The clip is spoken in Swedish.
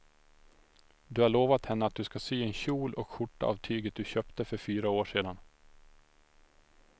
Du har lovat henne att du ska sy en kjol och skjorta av tyget du köpte för fyra år sedan.